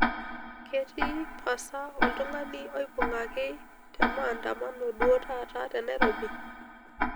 ketii pasa oltung'ani oubungaki te maandamano duo taata te nairobi